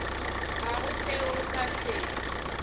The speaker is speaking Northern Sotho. ga go seo nka se